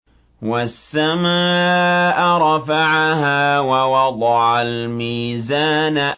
وَالسَّمَاءَ رَفَعَهَا وَوَضَعَ الْمِيزَانَ